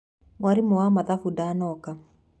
Mwarimũ wa mathabu ndanoka.